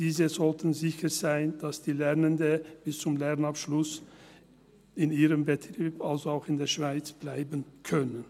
Diese sollten sicher sein, dass die Lernenden bis zum Lehrabschluss in ihrem Betrieb, also auch in der Schweiz, bleiben können.